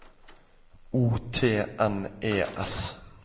O T N E S